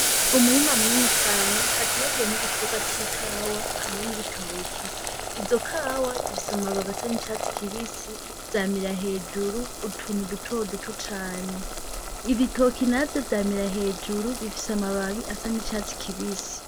Umurima munini cane hataragiyemwo igitebwa c'ikawa hamwe n'ibitoki izo kawa zifise amababi asa n'icatsi kibisi yamira hejuru utunu dutoro duto cane ibitoki navye vyamira hejuru bifise amababi asa n'icatsi kibisi.